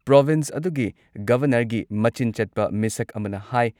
province ꯑꯗꯨꯒꯤ ꯒꯚꯔꯅꯔꯒꯤ ꯃꯆꯤꯟ ꯆꯠꯄ ꯃꯤꯁꯛ ꯑꯃꯅ ꯍꯥꯏ